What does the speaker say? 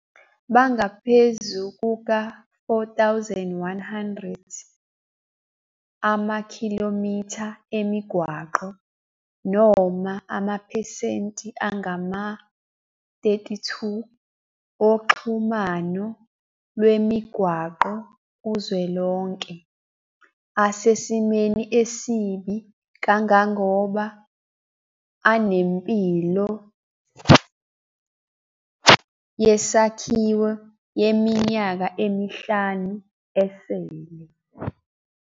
Bangaphezu kuka-4 100 Amakhilomitha emigwaqo - noma amaphesenti angama-32 oxhumano lwemigwaqo kuzwelonke - asesimweni esibi kangangoba anempilo "yesakhiwo" yeminyaka emihlanu esele.